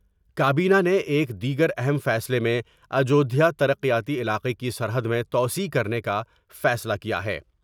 کابینہ نے ایک دیگر اہم فیصلے میں اجودھیا ترقیاتی علاقے کی سرحد میں توسیع کرنے کا فیصلہ کیا ہے ۔